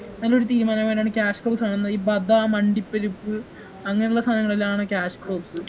നല്ലൊരു തീരുമാനമായിട്ടാണ് cash crops കാണുന്നെ ഈ ബദാം അണ്ടിപ്പരിപ്പ് അങ്ങനെയുള്ള സാനളിലാണ് cash crops